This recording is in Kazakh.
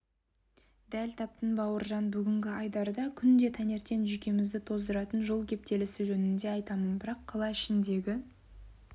дәл таптың бауыржан бүгінгі айдарда күнде таңертең жүйкемізді тоздыратын жол кептелісі жөнінде айтамын бірақ қала ішіндегі